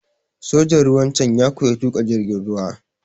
Sojan ruwan can ya koya tuƙa jirgin ruwa.